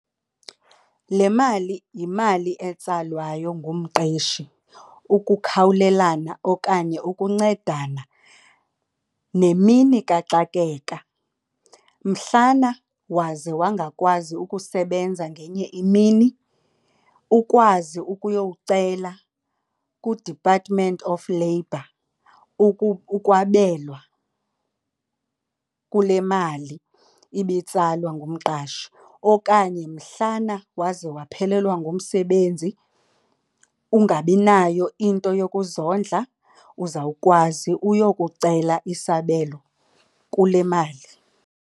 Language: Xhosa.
Le mali yimali etsalwayo ngumqeshi ukukhawulelana okanye ukuncedana nemini kaxakeka mhlana waze wangakwazi ukusebenza ngenye imini ukwazi ukuyowuela ku-Department of Labor ukwabelwa kule mali ibitsalwa ngumqashi. Okanye mhlana waze waphelelwa ngumsebenzi ungabi nayo into yokuzondla uzawukwazi uyokucela isabelo kule mali.